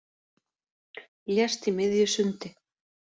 Lést í miðju sundi